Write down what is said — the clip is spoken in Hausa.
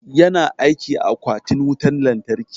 Yana aiki a akwatin wutan lantarki.